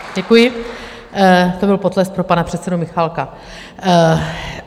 Děkuji, to byl potlesk pro pana předsedu Michálka.